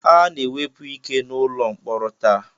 A na-ewepụ ike n'ụlọ mkpọrọ taa